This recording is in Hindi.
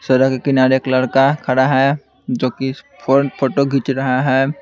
सड़क के किनारे एक लड़का खड़ा है जो कि फोन फोटो खींच रहा है।